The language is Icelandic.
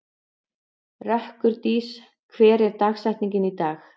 Rökkurdís, hver er dagsetningin í dag?